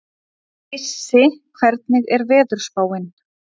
Issi, hvernig er veðurspáin?